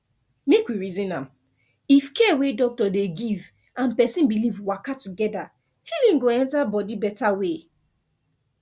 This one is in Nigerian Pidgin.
make we reason am if care wey doctor dey give and person belief waka together healing go enter body better way